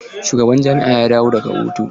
Eh shugaban jami'ar ya dawo daga hutu.